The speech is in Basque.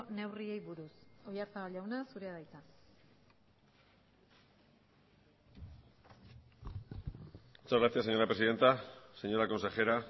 neurriei buruz oyarzabal jauna zurea da hitza muchas gracias señora presidenta señora consejera